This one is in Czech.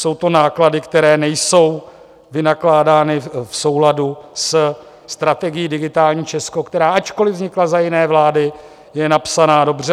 Jsou to náklady, které nejsou vynakládány v souladu se strategií Digitální Česko, která ačkoliv vznikla za jiné vlády, je napsaná dobře.